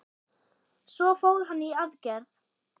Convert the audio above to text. Svo fór hann í aðgerð.